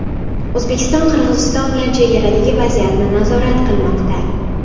O‘zbekiston Qirg‘iziston bilan chegaradagi vaziyatni nazorat qilmoqda.